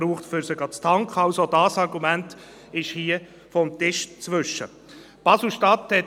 Auch die Entsorgung der Batterien ist nicht gelöst.